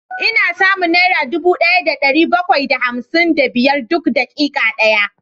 Ina samun naira dubu daya da dari bakwai da hamsin da biyar duk dakika daya